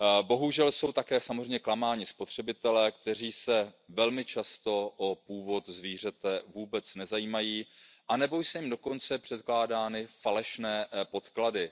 Bohužel jsou také samozřejmě klamáni spotřebitelé, kteří se velmi často o původ zvířete vůbec nezajímají anebo jsou dokonce předkládány falešné podklady.